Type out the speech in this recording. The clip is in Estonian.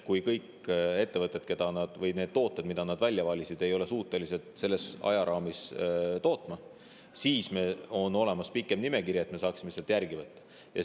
Juhuks, kui ettevõtted ei ole suutelised kõiki neid tooteid, mida ukrainlased välja valisid, selles ajaraamis tootma, on olemas ka pikem nimekiri, kust me saaksime järgmisi võtta.